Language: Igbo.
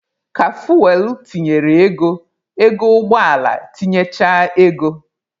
Ka fuwel tinyere ego, ego ụgbọ ala tinyechaa ego.